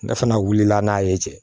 Ne fana wulila n'a ye cɛ